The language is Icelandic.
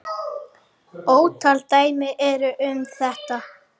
Ótal dæmi eru um þetta.